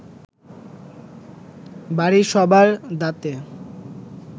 বাড়ির সবার দাঁতে